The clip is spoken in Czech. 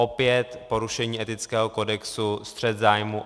Opět porušení etického kodexu, střet zájmů.